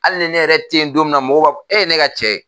Hali ni ne yɛrɛ ten don min na mɔgɔw b'a fɔ e ne ka cɛ